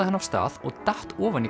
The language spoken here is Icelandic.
hann af stað og datt ofan í